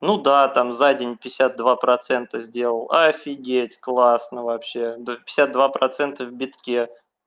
ну да там за день пятьдесят два процента сделал офигеть классно вообще да пятьдесят два процента в битке